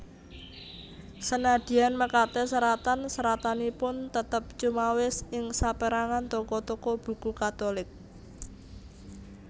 Senadyan mekaten seratan seratanipun tetep cumawis ing sapérangan toko toko buku Katulik